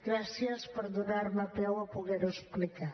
gràcies per donar me peu a poder ho explicar